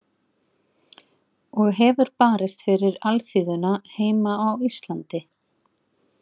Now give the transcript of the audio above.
Og hefur barist fyrir alþýðuna heima á Íslandi.